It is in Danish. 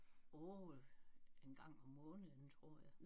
Åh en gang om måneden tror jeg